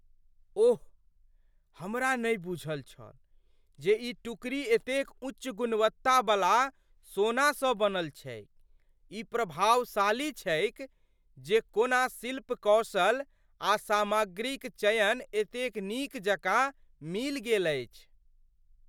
ओह, हमरा नहि बूझल छल जे ई टुकड़ी एतेक उच्च गुणवत्ता बला सोनासँ बनल छैक। ई प्रभावशाली छैक जे कोना शिल्प कौशल आ सामग्रीक चयन एतेक नीक जकाँ मिलि गेल अछि।